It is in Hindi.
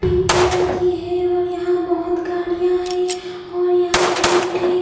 पिंक कलर की है और यहाँ बहुत गाड़िया है और यहाँ गेट है.